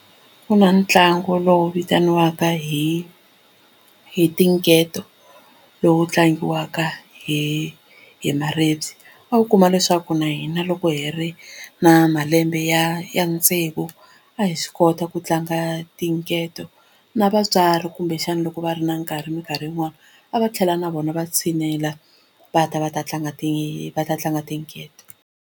Ku na ntlangu lowu vitaniwaka hi hi tinketo lowu tlangiwaka hi hi maribye a wu kuma leswaku na hina loko hi ri na malembe ya ya ya tsevu a hi swi kota ku tlanga tinketo na vatswari kumbexana loko va ri na nkarhi minkarhi yin'wani a va tlhela na vona va tshinela va ta va ta tlanga va ta tlanga tinketo.